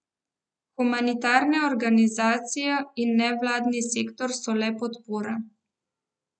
Humanitarne organizacije in nevladni sektor so le podpora.